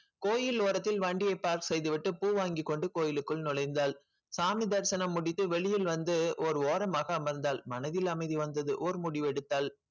கோயில் ஓரத்தில் வண்டிய pass செய்துவிட்டு பூ வாங்கிக் கொண்டு கோயிலுக்குள் நுழைந்தாள் சாமி தரிசனம் முடித்து வெளியில் வந்து ஒரு ஓரமாக அமர்ந்தாள் மனதில் அமைதி வந்தது ஒரு முடிவெடுத்தாள்